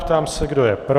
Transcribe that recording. Ptám se, kdo je pro.